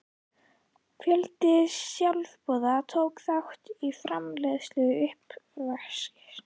Fjöldi sjálfboðaliða tók þátt í framreiðslu og uppvaski.